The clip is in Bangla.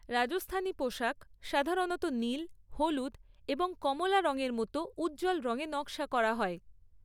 রাজস্থানী পোশাক সাধারণত নীল, হলুদ এবং কমলা রঙের মতো উজ্জ্বল রঙে নকশা করা হয়।